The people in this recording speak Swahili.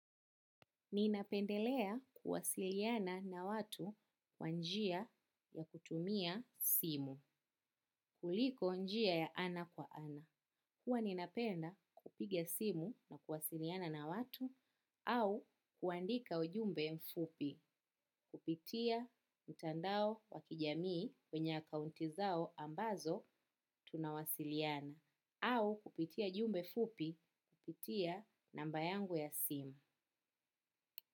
Ninapendelea kuwasiliana na watu kwa njia ya kutumia simu kuliko njia ya ana kwa ana. Huwa ninapenda kupiga simu na kuwasiliana na watu au kuandika ujumbe mfupi kupitia mtandao wa kijamii kwenye akaunti zao ambazo tunawasiliana au kupitia jumbe fupi kupitia namba yangu ya simu.